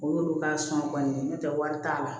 O y'olu ka sɔn kɔni n'o tɛ wari t'a la